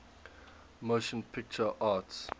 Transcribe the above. motion picture arts